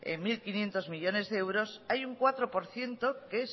mil quinientos millónes de euros hay un cuatro por ciento que